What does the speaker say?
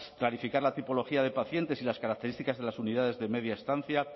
clarificar la tipología de pacientes y las características de las unidades de media estancia